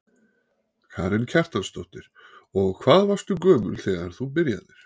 Karen Kjartansdóttir: Og hvað varstu gömul þegar þú byrjaðir?